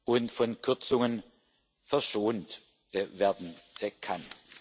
und von Kürzungen verschont werden kann.